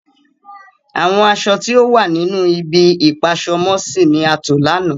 Àwọn àṣọ̀ ti o wà nínu ìbi-ipa-aṣọ-mọ-sí ni a tó lana.